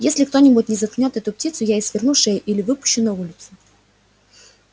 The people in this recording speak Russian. если кто-нибудь не заткнёт эту птицу я ей сверну шею или выпущу на улицу